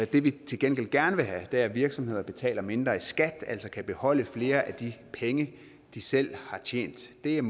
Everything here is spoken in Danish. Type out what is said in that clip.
det vi til gengæld gerne vil have er at virksomheder betaler mindre i skat altså kan beholde flere af de penge de selv har tjent det er